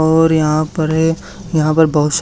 और यहां पर है यहां पर बहुत सा--